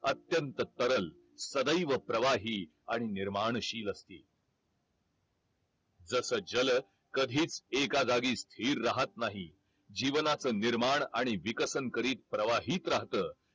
अत्यंत सरळ सदैव प्रवाही आणि निर्माणशील असील जस जल कधीच एका जागी स्थिर राहत नाही जीवनच निर्माण आणि विकसन करीत प्रवाहित राहत